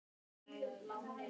Skýr mörk